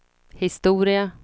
historia